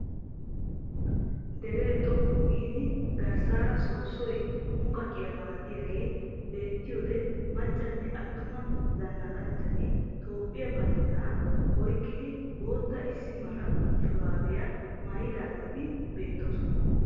Deree xoqqu giidi garssaara soosoy muqqaqiyaa malattiyaagee beettiyode maccanne attuma zanaqanchchatti toophphiya banddiraa oyqqidi bootta issi mala shuraabiyaa maayidageeti beettoosona.